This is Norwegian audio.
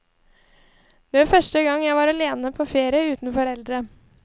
Det var første gang jeg var alene på ferie uten foreldre.